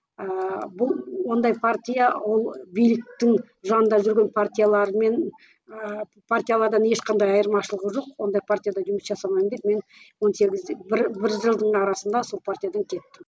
ыыы бұл ондай партия ол биліктің жанында жүрген партиялармен ааа партиялардан ешқандай айырмашылығы жоқ ондай партияда жұмыс жасамаймын деп мен он сегізде бір бір жылдың арасында сол партиядан кеттім